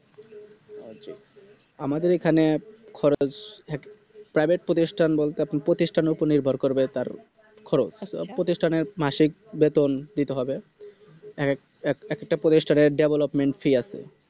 আমাদের এখানে খরচ এক Private প্রতিষ্ঠান বলতে আপনি প্রতিষ্ঠানের উপর নির্ভর করবে তার খরচ প্রতিষ্ঠানের মাসিক বেতন দিতে হবে এক এক এক একটা প্রতিষ্ঠানের Development Fee আছে